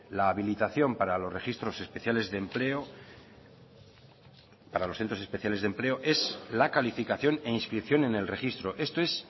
la habilitación para los registros especiales de empleo para los centros especiales de empleo es la calificación e inscripción en el registro esto es